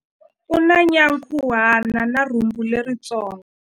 U na nyankhuhana na rhumbu leritsongo.